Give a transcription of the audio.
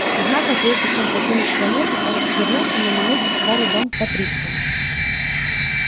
однако прежде чем покинуть планету он вернулся на минуту в старый дом патриция